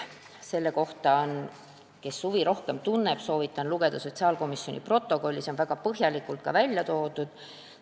Sellel, kes asja vastu rohkem huvi tunneb, soovitan lugeda sotsiaalkomisjoni protokolli, kus see on väga põhjalikult ära toodud.